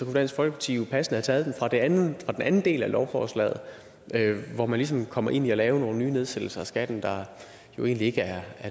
dansk folkeparti jo passende have taget dem fra den anden anden del af lovforslaget hvor man ligesom kommer ind i at lave nogle nye nedsættelser af skatten der jo egentlig ikke er